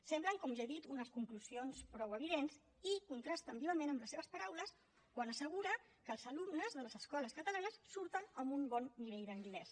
semblen com ja he dit unes conclusions prou evidents i contrasten vivament amb les seves paraules quan assegura que els alumnes de les escoles catalanes surten amb un bon nivell d’anglès